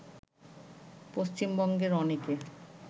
পশ্চিমবঙ্গের অনেকে